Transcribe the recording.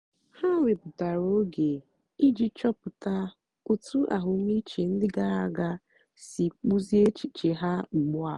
ha wèpụ̀tàra ógè ijì chọ̀pụ̀tà otú àhụ́mị̀chè ndí gààrà àga sì kpụ́ziè èchìchè ha ùgbùà.